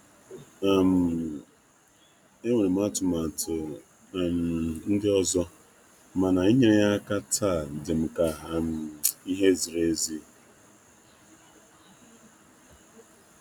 Enwere m atụmatụ ndị ọzọ, mana inyere ya aka taa dịm ka ihe ihe ziri ezi.